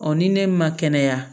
ni ne ma kɛnɛya